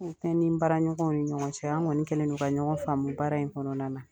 U kɛ ni baara ɲɔgɔn ni ɲɔgɔn cɛ an kɔni kɛlɛndo ka ɲɔgɔn faamu in baara in kɔnɔna na